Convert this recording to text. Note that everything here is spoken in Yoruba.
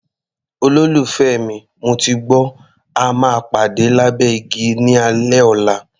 Olólùfẹ́ mi, mo ti gbọ́, a máa pàdé lábẹ́ igi ní alẹ́ ọ̀la.